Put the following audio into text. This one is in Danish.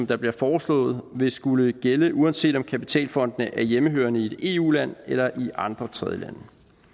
der bliver foreslået vil skulle gælde uanset om kapitalfondene er hjemmehørende i et eu land eller i andre tredjelande